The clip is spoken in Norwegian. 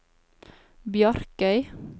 Bjarkøy